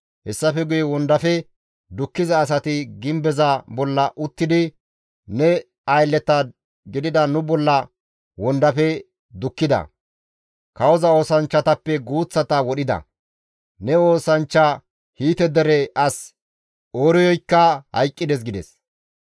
Hessafe guye wondafe dukkiza asati gimbeza bolla uttidi ne aylleta gidida nu bolla wondafe dukkida; kawoza oosanchchatappe guuththata wodhida; ne oosanchcha Hiite dere as Ooriyoykka hayqqides» gides.